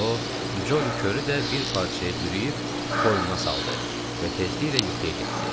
O Coli körü də bir parçaya bürüyüb qoynuna saldı və tezliklə yuxuya getdi.